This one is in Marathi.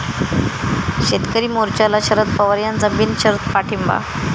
शेतकरी मोर्चाला शरद पवार यांचा बिनशर्त पाठिंबा